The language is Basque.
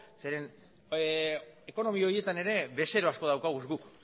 zeren ekonomi horietan ere bezero asko dauzkagu guk